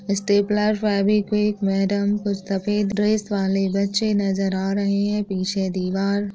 Stapler Fevikwik madam कुछ सफ़ेद dress वाले बच्चे नजर आ रहे है। पीछे दीवार--